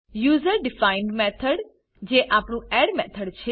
user defined method જે આપણું add method છે